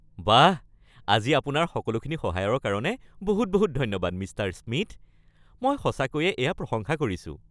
বাহ, আজি আপোনাৰ সকলোখিনি সহায়ৰ কাৰণে বহুত বহুত ধন্যবাদ, মিষ্টাৰ স্মিথ। মই সঁচাকৈয়ে এয়া প্ৰশংসা কৰিছোঁ!